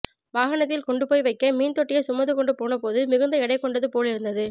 வாகனத்தில் கொண்டு போய் வைக்க மீன் தொட்டியைச் சுமந்து கொண்டு போன போது மிகுந்த எடை கொண்டது போலிருந்தது